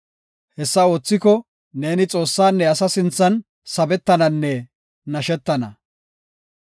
Hessa oothiko ne Xoossanne asa sinthan sabetananne nashetana.